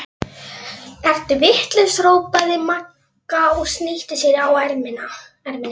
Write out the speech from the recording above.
Ertu vitlaus! hrópaði Magga og snýtti sér á erminni.